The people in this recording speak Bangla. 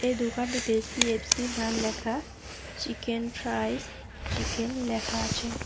এই দোকানটিতে সি_এফ_সি নাম লেখা চিকেন ফ্রাইস চিকেন লেখা আছে।